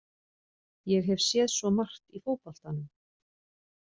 Ég hef séð svo margt í fótboltanum.